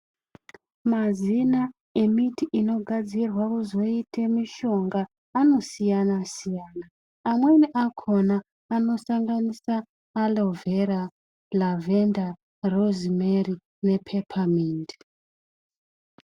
Mazina emiti inogadzirwa kuzoite mishonga anosiyana siyana. Amweni akhona anosanganisa Alovhera, Lavhenda, Rozimeri, nePhephamindi.